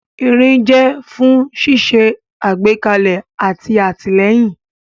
Irin jẹ́ fún ṣíṣe àgbékalẹ̀ àti àtìlẹ́yìn.